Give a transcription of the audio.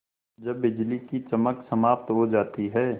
जब बिजली की चमक समाप्त हो जाती है